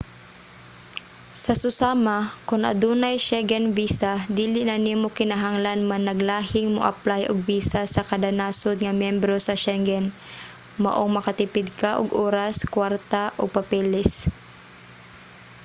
sa susama kon adunay schengen visa dili na nimo kinahanglan managlahing moaplay og visa sa kada nasod nga miyembro sa shengen maong makatipid ka og oras kwarta ug papeles